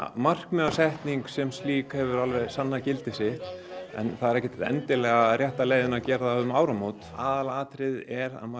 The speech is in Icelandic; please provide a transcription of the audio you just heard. markmiðasetning sem slík hefur alveg sannað gildi sitt það er ekkert endilega rétta leiðin að gera það um áramót aðalatriðið er að maður